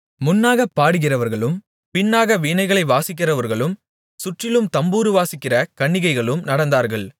முன்னாகப் பாடுகிறவர்களும் பின்னாக வீணைகளை வாசிக்கிறவர்களும் சுற்றிலும் தம்புரு வாசிக்கிற கன்னிகைகளும் நடந்தார்கள்